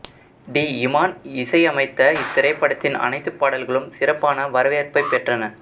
D Imman இசையமைத்த இத்திரைப்படத்தின் அனைத்துப் பாடல்களும் சிறப்பான வரவேற்பைப் பெற்றன